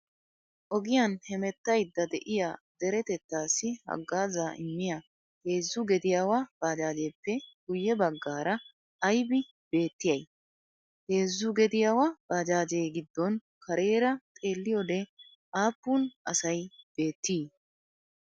Ogiyan hemettayidda de'iyaa deretettaassi haggaazaa immiyaa heezzu gediyaawa baajaajjeeppe guyye baggaara ayibi beettiyaayi? Heezzu gediyaawa baajaajjee giddon kareera xeelliyoode aappun asayi beettii?